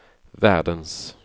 världens